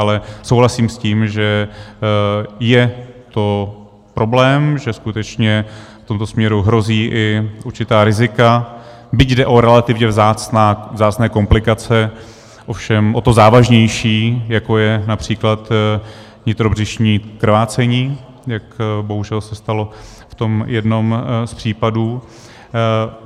Ale souhlasím s tím, že je to problém, že skutečně v tomto směru hrozí i určitá rizika, byť jde o relativně vzácné komplikace, ovšem o to závažnější, jako je například nitrobřišní krvácení, jak bohužel se stalo v tom jednom z případů.